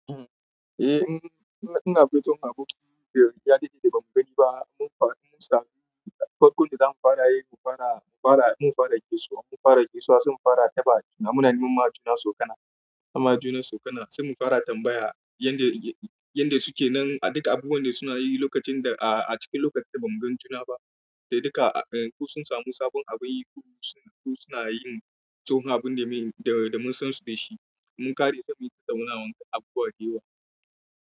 Eh, ina dai jin abun da ya daɗe bamu gani ba mun samu. Farkon da za mu fara, in mun fara gaisewa, mun fara gaisewa har sun fara tambaya. Munanun majuna su kana, amma junan su suna, sai mun fara tambaya yanda suke nan. A duka abubuwan da suna yi lokacin da a cikin lokacin da ba mugan juna ba, da duka ko sun samu sabon abin yi ko suna yin tsohon abunda mun san su dashi, mun ƙare samun damuwa da abubuwan da yawa.